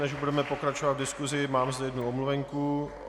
Než budeme pokračovat v diskusi, mám zde jednu omluvenku.